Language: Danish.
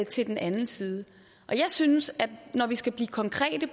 til den anden side jeg synes at når vi skal blive konkrete